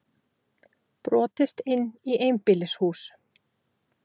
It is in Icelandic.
Jón Ólafur tók upp sinn bolla, lyfti honum og skálaði með.